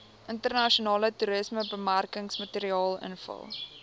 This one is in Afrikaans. internasionale toerismebemarkingsmateriaal invul